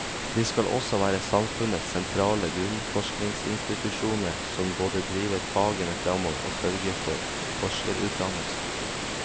De skal også være samfunnets sentrale grunnforskningsinstitusjoner, som både driver fagene fremover og sørger for forskerutdannelse.